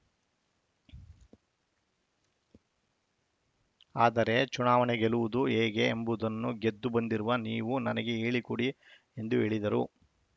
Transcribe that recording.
ಆದರೆ ಚುನಾವಣೆ ಗೆಲ್ಲುವುದು ಹೇಗೆ ಎಂಬುದನ್ನು ಗೆದ್ದು ಬಂದಿರುವ ನೀವು ನನಗೆ ಹೇಳಿಕೊಡಿ ಎಂದು ಹೇಳಿದರು